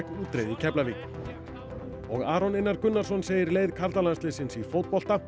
útreið í Keflavík og Aron Einar Gunnarsson segir leið karlalandsliðsins í fótbolta